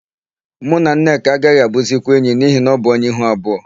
Mụ na Nneka agaghị abụzikwa enyi n'ihi na ọ bụ onye ihu abụọ.